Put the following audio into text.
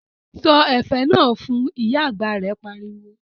Sọ ẹ̀fẹ̀ náà fun', Ìyá àgbà rẹ̀ pariwo